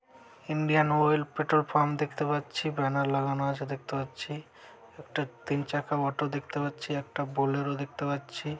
Indian oil petrol pump দেখতে পাচ্ছি। Banner লাগানো আছে দেখতে পাচ্ছি। একটা তিন চাকা অটো দেখতে পাচ্ছি। একটা বুলের দেখতে পাচ্ছি।